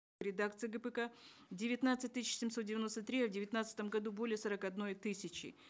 редакции гпк девятнадцать тысяч семьсот девяносто три в девятнадцатом году более сорока одной тысячи